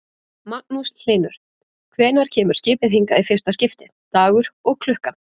Magnús Hlynur: Hvenær kemur skipið hingað í fyrsta skiptið, dagur og klukkan?